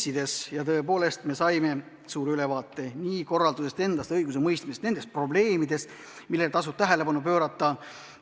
Ja täna me tõepoolest saime hea ülevaate nii kohtukorraldusest endast, õigusemõistmisest kui ka probleemidest, millele tasub tähelepanu pöörata.